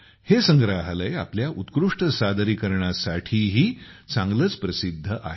हे संग्रहालय आपल्या उत्कृष्ट सादरीकरणासाठीही चांगलेच प्रसिद्ध आहे